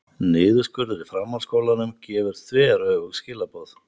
Niðurskurður í framhaldsskólanum gefur þveröfug skilaboð